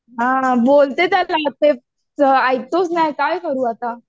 हां बोलते त्याला ऐकतच नाही काय करू आता.